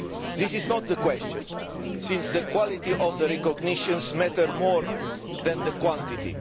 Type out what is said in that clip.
This is not the question, since the quality of the recognitions matters more than the quantity.